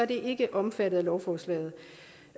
de ikke omfattet af lovforslaget